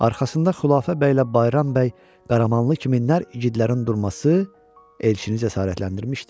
Arxasında Xüləfa bəylə Bayram bəy, Qaramanlı kimi nərgidlərin durması elçini cəsarətləndirmişdi.